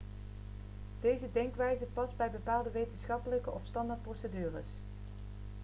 deze denkwijze past bij bepaalde wetenschappelijke of standaardprocedures